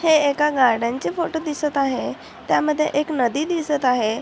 हे एका गार्डन चे फोटो दिसत आहे त्यामध्ये एक नदी दिसत आहे.